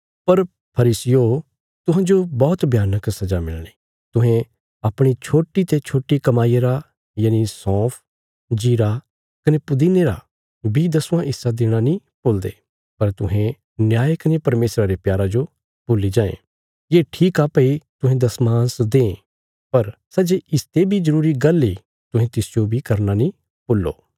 पर फरीसियो तुहांजो बौहत भयानक सजा मिलणी तुहें अपणी छोट्टी ते छोट्टी कमाईया रा यनि सौंफ जीरा कने पुदीने रा बी दसवां हिस्सा देणा नीं भुलदे पर तुहें न्याय कने परमेशरा रे प्यारा जो भुल्ली जायें ये ठीक आ भई तुहें दशमांश दें पर सै जे इसते बी जरूरी गल्ल इ तुहें तिसजो बी करना नीं भूल्लो